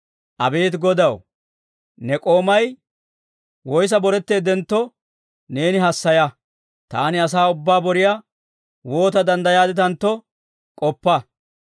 Abeet Godaw, ne k'oomay woyssa boretteeddentto neeni hassaya. Taani asaa ubbaa boriyaa woota danddayaadditantto k'oppa.